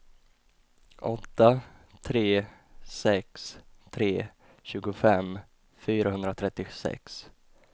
åtta tre sex tre tjugofem fyrahundratrettiosex